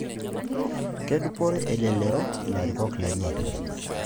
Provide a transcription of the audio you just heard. Ketudupore elelero ilarikok lenye?